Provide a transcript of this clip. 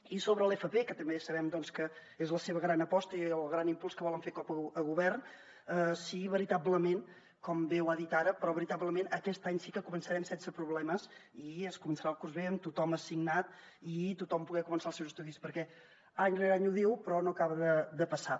i sobre l’fp que també sabem que és la seva gran aposta i el gran impuls que volen fer com a govern si veritablement com bé ho ha dit ara però veritablement aquest any sí que començarem sense problemes i es començarà el curs bé amb tothom assignat i tothom poder començar els seus estudis perquè any rere any ho diu però no acaba de passar